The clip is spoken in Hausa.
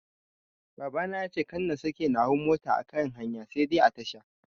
Baba yace kada na sake na hau mota a kan hanya sai dai a tasha.